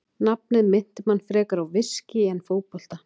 Nafnið minnti mann frekar á viskí en fótbolta.